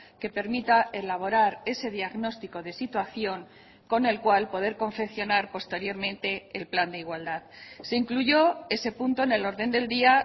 que permita elaborar ese diagnóstico de situación con el cual poder confeccionar posteriormente el plan de igualdad se incluyó ese punto en el orden del día